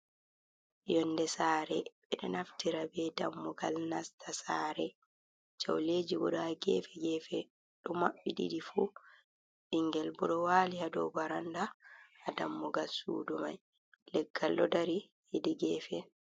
Yonnde saare ɓe ɗo naftira be dammugal nasta saare, jawleeji bo ɗo a gefe gefe, ɗo maɓɓi ɗiɗi fu ɓinngel bo ɗo waali a dow barannda haa dammugal suudu may, leggal ɗo dari hedi geefe.